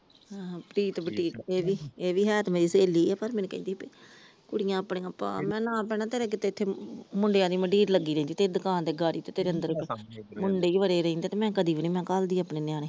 ਆਹ ਪ੍ਰੀਤ ਬੁਟੀਕ ਇਹ ਵੀ ਹੈ ਤੇ ਮੇਰੀ ਸਹੇਲੀ ਆ ਪਰ ਮੈਨੂੰ ਕਹਿੰਦੀ ਸੀ ਕੁੜੀਆਂ ਆਪਣੀਆਂ ਪਾਲੈ ਮੈ ਨਾ ਭੈਣਾਂ ਤੇਰੇ ਇੱਥੇ ਮੁੰਡਿਆਂ ਦੀ ਮੰਡੀਰ ਲੱਗੀ ਰਹਿੰਦੀ ਤੇਰੀ ਦੁਕਾਨ ਤੇ ਗਾੜੀ ਤੇ ਤੇਰੇ ਅੰਦਰ ਵੀ ਦੁਕਾਨ ਦੇ ਮੁੰਡੇ ਵੜੇ ਰਹਿੰਦੇ ਆ ਤੇ ਮੈਂ ਕਦੇ ਵੀ ਨਾ ਘਲ ਦੀ ਆਪਣੇ ਨਿਆਣੇ ।